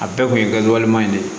A bɛɛ kun ye kɛ walima de ye